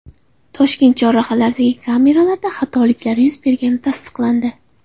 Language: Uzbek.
Toshkent chorrahalaridagi kameralarda xatoliklar yuz bergani tasdiqlandi .